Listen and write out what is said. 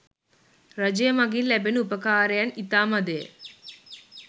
රජය මඟින් ලැබෙන උපකාරයන් ඉතා මඳය.